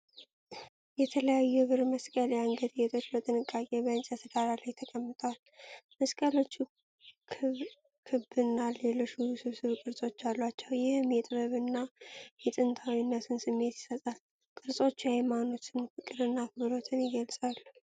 የተለያዩ የብር መስቀል የአንገት ጌጦች በጥንቃቄ በእንጨት ዳራ ላይ ተቀምጠዋል። መስቀሎቹ ክብና ሌሎች ውስብስብ ቅርጾች አሏቸው፤ ይህም የጥበብና የጥንታዊነትን ስሜት ይሰጣል። ቅርጾቹ የሀይማኖትን ፍቅርና አክብሮት ይገልጻሉ።